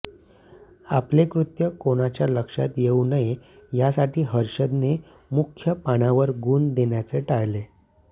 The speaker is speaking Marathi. आपले कृत्य कोणाच्या लक्षात येऊ नये यासाठी हर्षदने मुख्य पानावर गुण देण्याचे टाळले